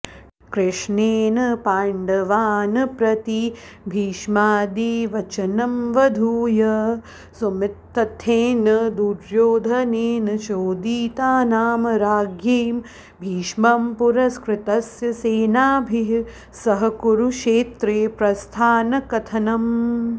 कृष्णेन पाण्डवान्प्रति भीष्मादिवचनमवधूय समुत्थितेन दुर्योधनेन चोदितानां राज्ञीं भीष्मं पुरस्कृत्य सेनाभिः सह कुरुक्षत्रेप्रस्थानकथनम्